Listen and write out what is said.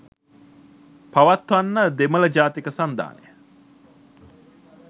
පවත්වන්න දෙමළ ජාතික සන්ධානය